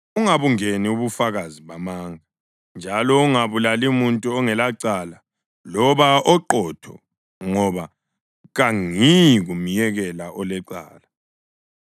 Ungabungeni ubufakazi bamanga, njalo ungabulali muntu ongelacala loba oqotho ngoba kangiyi kumyekela olecala.